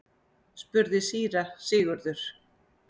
spurði síra Sigurður.